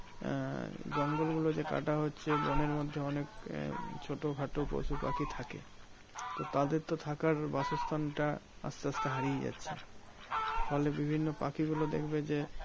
আহ জঙ্গলগুলো যে কাটা হচ্ছে বোনের মধ্যে অনেক আহ ছোটোখাটো পশুপাখি থাকে? তো তাদের তো থাকার বাসস্থানটা আসতে আসতে হারিয়ে যাচ্ছে। ফলে বিভিন্ন পাখিগুলো দেখবে যে,